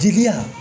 Jigiya